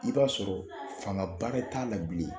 I b'a sɔrɔ fanga ba t'a la bilen